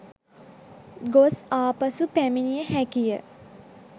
ගොස් ආපසු පැමිණිය හැකිය